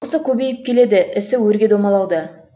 жылқысы көбейіп келеді ісі өрге домалауда